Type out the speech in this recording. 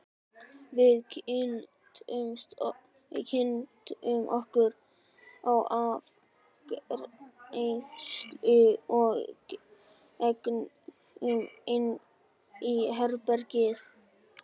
Við kynntum okkur í afgreiðslunni og gengum inn í herbergið.